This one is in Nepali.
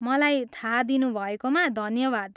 मलाई थाहा दिनुभएकोमा धन्यवाद।